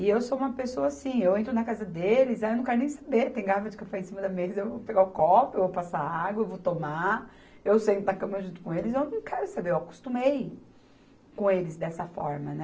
E eu sou uma pessoa assim, eu entro na casa deles, aí eu não quero nem saber, tem garrafa de café em cima da mesa, eu vou pegar o copo, eu vou passar água, eu vou tomar, eu sento na cama junto com eles, eu não quero saber, eu acostumei com eles dessa forma, né?